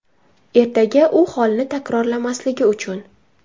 Ertaga u holni takrorlamasligi uchun.